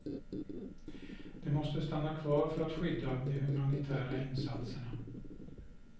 De måste stanna kvar för att skydda de humanitära insatserna.